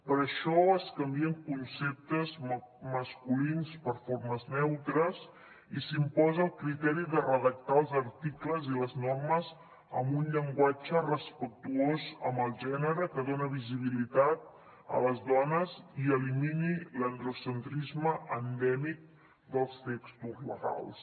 per això es canvien conceptes masculins per formes neutres i s’imposa el criteri de redactar els articles i les normes amb un llenguatge respectuós amb el gènere que doni visibilitat a les dones i elimini l’androcentrisme endèmic dels textos legals